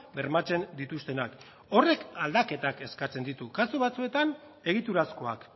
bermatzen dituztenak horrek aldaketak eskatzen ditu kasu batzuetan egiturazkoak